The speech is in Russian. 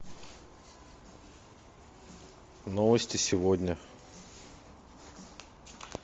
новости сегодня